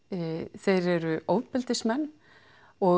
þeir eru ofbeldismenn og